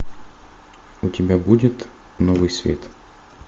у тебя будет новый свет